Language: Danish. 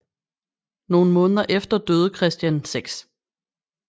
Nogle måneder efter døde Christian 6